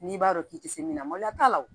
N'i b'a dɔn k'i tɛ se min na mali la